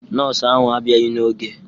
Nọọsụ ahụ a bịaghị n'oge